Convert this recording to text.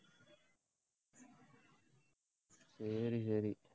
சரி, சரி